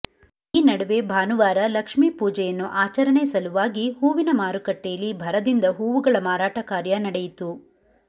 ಈ ನಡುವೆ ಭಾನುವಾರ ಲಕ್ಷ್ಮೀಪೂಜೆಯನ್ನು ಆಚರಣೆ ಸಲುವಾಗಿ ಹೂವಿನ ಮಾರುಕಟ್ಟೆಯಲ್ಲಿ ಭರದಿಂದ ಹೂವುಗಳ ಮಾರಾಟ ಕಾರ್ಯ ನಡೆಯಿತು